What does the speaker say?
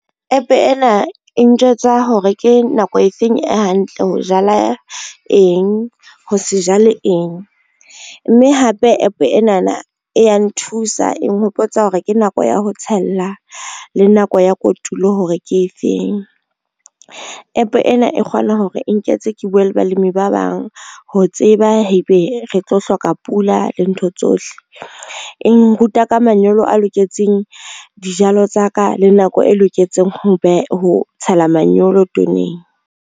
App ena e ntjwetsa hore ke nako efeng e hantle ho jala eng ho se jale eng, mme hape app enana e ya nthusa e nghopotsa hore ke nako ya ho tshela le nako ya kotulo hore ke efeng. App ena e kgona hore e nketse ke bue le balemi ba bang ho tseba ha ebe re tlo hloka pula le ntho tsohle, e nruta ka manyolo a loketseng dijalo tsa ka le nako e loketseng ho tshela manyolo toneng.